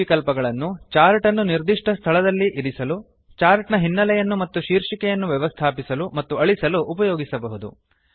ಈ ವಿಕಲ್ಪಗಳನ್ನು ಚಾರ್ಟ್ ಅನ್ನು ನಿರ್ದಿಷ್ಟ ಸ್ಥಳಗಳಲ್ಲಿ ಇರಿಸಲು ಚಾರ್ಟ್ ನ ಹಿನ್ನಲೆಯನ್ನು ಮತ್ತು ಶೀರ್ಷಿಕೆಯನ್ನು ವ್ಯವಸ್ಥಾಪಿಸಲು ಮತ್ತು ಅಳಿಸಲು ಉಪಯೋಗಿಸಬಹುದು